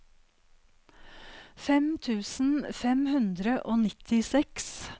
fem tusen fem hundre og nittiseks